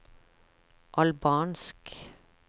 albansk